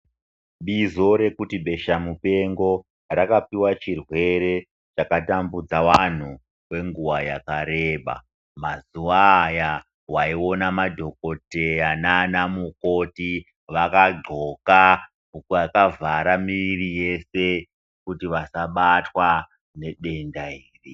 Bizo rekuti beshamupengo rakapiwa chirwere chakatambudza anhu kwenguwa yakareba. Mazuwa aya waiona madhokodheya naanamukoti vakagxoka vakavhara miri yese kuti vasabatwa ngedenda iri.